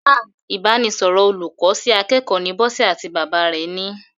Ah! Ìbánisọ̀rọ̀ olùkọ́ sí akẹ́kọ̀ọ́ ni Bọ́sẹ̀ àti bàbá rẹ̀ ni.